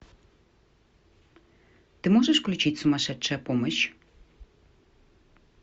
ты можешь включить сумасшедшая помощь